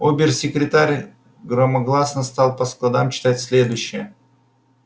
обер-секретарь громогласно стал по складам читать следующее